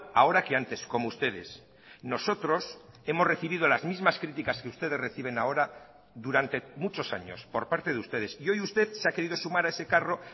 ahora que antes como ustedes nosotros hemos recibido las mismas criticas que ustedes reciben ahora durante muchos años por parte de ustedes y hoy usted se ha querido sumar a ese carro